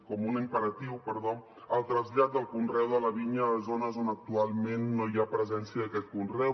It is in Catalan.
com un imperatiu perdó el trasllat del conreu de la vinya a zones on actualment no hi ha presència d’aquest conreu